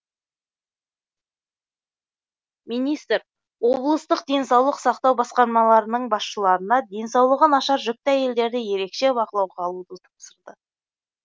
министр облыстық денсаулық сақтау басқарамаларының басшыларына денсаулығы нашар жүкті әйелдерді ерекше бақылауға алуды тапсырды